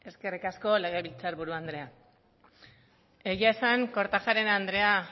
eskerrik asko legebiltzar buru andrea egia esan kortajarena andrea